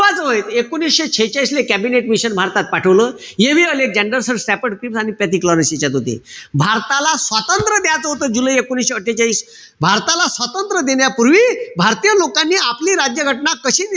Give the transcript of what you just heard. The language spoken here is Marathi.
जे एकोणीशे शेहेचाळीसले कॅबिनेट मिशन भारतात पाठवलं. यांच्यात होते. भारताला स्वातंत्र्य द्यायचं होतं जुलै एकोणीशे अट्ठेचाळीस. भारताला स्वातंत्र्य देण्यापूर्वी, भारतीय लोकांनी आपली राज्यघटना कशी,